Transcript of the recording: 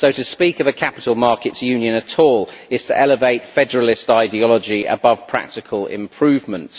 So to speak of a Capital Markets Union at all is to elevate federalist ideology above practical improvements.